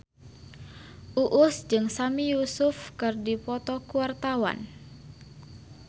Uus jeung Sami Yusuf keur dipoto ku wartawan